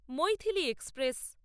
Maithili express